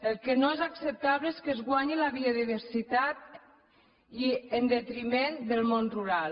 el que no és acceptable és que es guanyi la biodiversitat en detriment del món rural